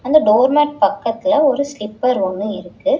இந்த door mat பக்கத்துல ஒரு ஸ்லிப்பர் ஒன்னு இருக்கு.